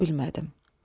deyə bilmədim.